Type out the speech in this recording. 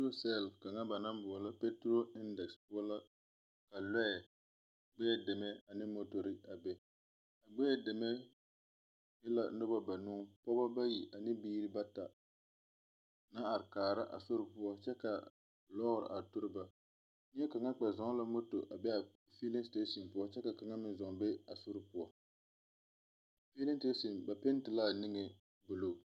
Peturosɛl kaŋa ba naŋ boɔlɔ peturo endɛseke poɔ la ka lɔɛ, gbɛɛ deme ane motorri a be. Gbɛɛ deme e la noba banuu, pɔgeba bayi ane biiri bata naŋ are kaara a sor poɔ kyɛ ka lɔɔr a are tori ba. Neɛkaŋa kpɛ zɔŋ la moto a be a feele seteesin poɔ kyɛ ka kaŋa meŋ zɔŋ be a sor poɔ. A feele seteesin ba penti la a niŋe buluu.